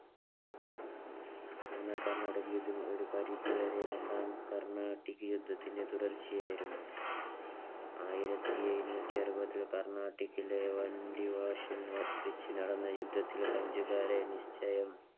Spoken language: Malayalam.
മൂന്നാം കർണാട്ടിക് യുദ്ധം ഒരു പരിധിവരെ രണ്ടാം കർണാടിക്ക് യുദ്ധത്തിന്റെ തുടർച്ചയായിരുന്നു. ആയിരത്തിഎഴുനൂറ്റിഅറുപതിൽ കര്ണാട്ടിക്കിലെ വണ്ടി വാശിൽ വച്ച് നടന്ന യുദ്ധത്തിൽ ഫ്രഞ്ചുകാരെ നിശ്ചയം